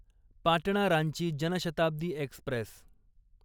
Patna Ranchi Janshatabdi Express